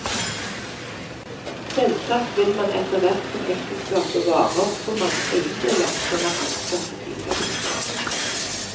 Selvsagt vil man, etterhvert som ekteskapet varer, få mange eiendeler som er anskaffet i fellesskap.